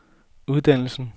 uddannelsen